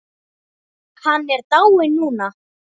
Hann er dáinn núna.